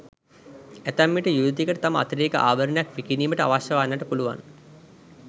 ඇතැම්විට යුවතියකට තම අතිරේක ආභරණයක් විකිණීමට අවශ්‍ය වන්නට පුළුවන්.